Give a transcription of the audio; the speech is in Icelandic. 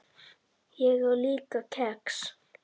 Ég á líka kex.